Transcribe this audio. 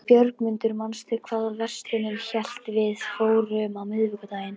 Björgmundur, manstu hvað verslunin hét sem við fórum í á miðvikudaginn?